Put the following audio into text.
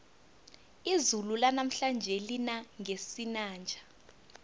izulu lanamhlanje lina ngesinanja